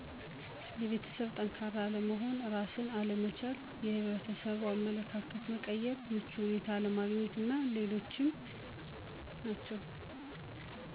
የቤተሠብ ጠንካራ አለመሆን፣ እራስን አለመቻል፣ የሕብረተሠቡ አመለካከት መቀየር፣ ምቹ ሁኔታ አለማግኘት አና ሌሎችም